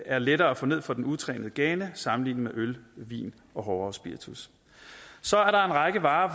er lettere at få ned for den utrænede gane sammenlignet med øl vin og hårdere spiritus så er der en række varer